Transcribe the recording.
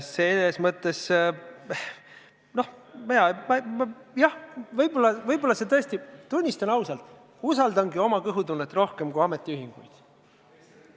Selles mõttes, jah, tunnistan ausalt: ma usaldangi oma kõhutunnet rohkem kui ametiühinguid.